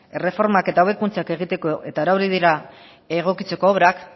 erreformak eta hobekuntzak egiteko eta erabili dira egokitzeko obrak